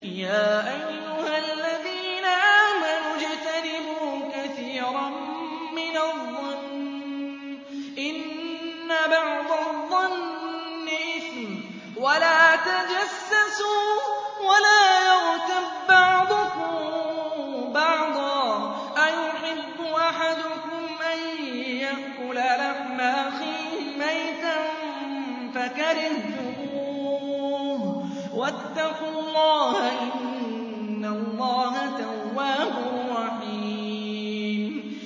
يَا أَيُّهَا الَّذِينَ آمَنُوا اجْتَنِبُوا كَثِيرًا مِّنَ الظَّنِّ إِنَّ بَعْضَ الظَّنِّ إِثْمٌ ۖ وَلَا تَجَسَّسُوا وَلَا يَغْتَب بَّعْضُكُم بَعْضًا ۚ أَيُحِبُّ أَحَدُكُمْ أَن يَأْكُلَ لَحْمَ أَخِيهِ مَيْتًا فَكَرِهْتُمُوهُ ۚ وَاتَّقُوا اللَّهَ ۚ إِنَّ اللَّهَ تَوَّابٌ رَّحِيمٌ